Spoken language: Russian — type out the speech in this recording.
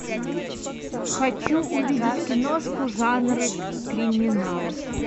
хочу увидеть киношку жанр криминал